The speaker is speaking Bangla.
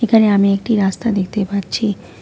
এখানে আমি একটি রাস্তা দেখতে পাচ্ছি।